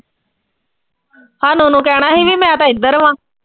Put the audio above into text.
ਭਾਨੋ ਨੂੰ ਕਹਿਣਾ ਸੀ ਵੀ ਮੈਂ ਤਾਂ ਇਧਰ ਵਾਂ।